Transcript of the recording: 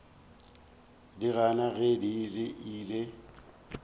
di gana ge di ile